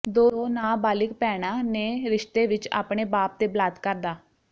ਦੋ ਨਾਬਾਲਿਗ ਭੈਣਾਂ ਨੇ ਰਿਸ਼ਤੇ ਵਿੱਚ ਆਪਣੇ ਬਾਪ ਤੇ ਬਲਾਤਕਾਰ ਦਾ